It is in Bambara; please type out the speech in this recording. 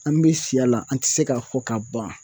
An bɛ siya la an tɛ se k'a fɔ ka ban.